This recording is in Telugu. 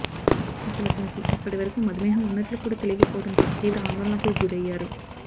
అసలు అతనికి అప్పటి వరకూ మధుమేహం ఉన్నట్లు కూడా తెలియకపోవడంతో తీవ్ర ఆందోళనకు గురయ్యారు